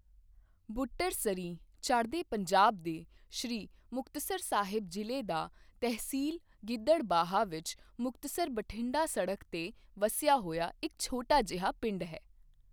ਬੁੱਟਰ ਸਰੀਂਹ ਚੜ੍ਹਦੇ ਪੰਜਾਬ ਦੇ ਸ੍ਰੀ ਮੁਕਤਸਰ ਸਾਹਿਬ ਜ਼ਿਲ੍ਹੇ ਦਾ ਤਹਿਸੀਲ ਗਿੱਦੜਬਾਹਾ ਵਿੱਚ ਮੁਕਤਸਰ ਬਠਿੰਡਾ ਸੜਕ ਤੇ ਵਸਿਆ ਹੋਇਆ ਇੱਕ ਛੋਟਾ ਜਿਹਾ ਪਿੰਡ ਹੈ।